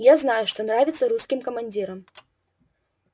я знаю что нравится русским командирам